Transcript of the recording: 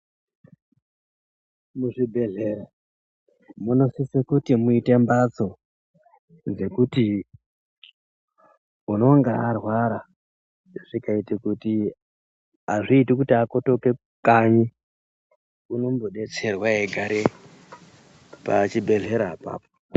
Muzvibhedhlera munosise kuti muite mbatso dzekuti unonga arwara zvikaite kuti azviiti kuti akotoke kukanyi unombodetserwa eigare pachibhedhlera apapo.